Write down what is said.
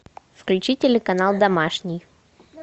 включи телеканал домашний